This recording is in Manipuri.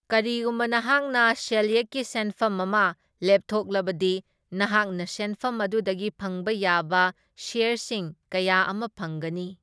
ꯀꯔꯤꯒꯨꯝꯕ ꯅꯍꯥꯛꯅ ꯁꯦꯜꯌꯦꯛꯀꯤ ꯁꯦꯟꯐꯝ ꯑꯃ ꯂꯦꯞꯊꯣꯛꯂꯕꯗꯤ ꯅꯍꯥꯛꯅ ꯁꯦꯟꯐꯝ ꯑꯗꯨꯗꯒꯤ ꯐꯪꯕ ꯌꯥꯕ ꯁ꯭ꯌꯔꯁꯤꯡ ꯀꯌꯥ ꯑꯃ ꯐꯪꯒꯅꯤ꯫